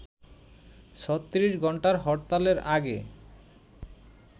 ৩৬ ঘন্টার হরতালের আগে